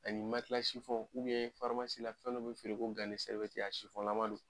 Ani fɛn be feere ko a laman don.